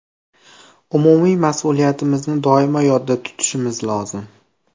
Umumiy mas’uliyatimizni doimo yodda tutishimiz lozim.